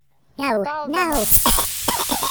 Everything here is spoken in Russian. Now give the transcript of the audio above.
талдомом